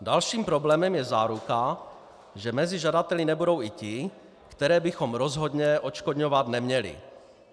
Dalším problémem je záruka, že mezi žadateli nebudou i ti, které bychom rozhodně odškodňovat neměli.